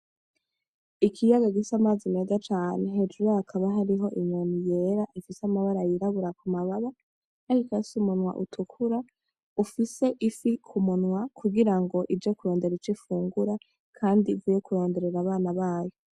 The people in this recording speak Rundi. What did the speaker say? Ikiyaga gifise amazi meza cane hejuru yaco hakaba hari inyoni yera ifise amabara y'irabura ku mababa, ikaba ifise umunwa utukura ufise ifi k'umunwa kugira ngo ije kurondera ico ifungura kandi ivuye kuronderera abana bayo.